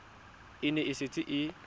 e ne e setse e